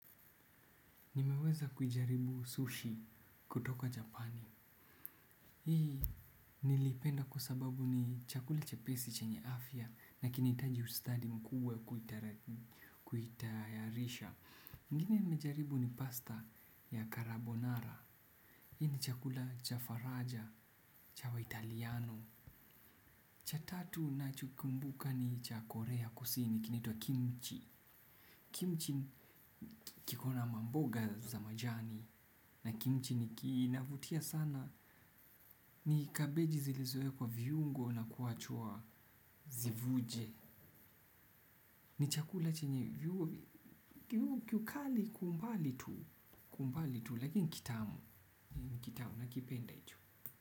Nimeweza kujaribu sushi kutoka japani hii nilipenda kwa sababu ni chakula chepesi chenye afya na kinahitaji ustadi mkuu wa kuitayarisha ingine nimejaribu ni pasta ya karabonara hii ni chakula cha faraja cha wa italiano cha tatu na chokumbuka ni cha korea kusini kinaitwa kimchi. Kimchi kikona mamboga za majani na kimchi ni kinavutia sana ni kabeji zilizowekwa viungo na kuachua zivuje. Ni chakula chenye kiukali kwa ubali tu lakini kitamu nakipenda tu.